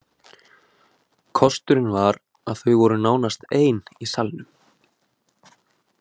Kosturinn var að þau voru nánast ein í salnum.